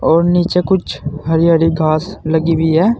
और नीचे कुछ हरी हरी घास लगी हुई है।